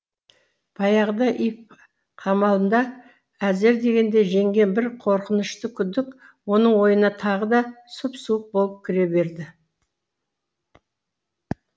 баяғыда иф қамалында әзер дегенде жеңген бір қорқынышты күдік оның ойына тағы да сұп суық болып кіре берді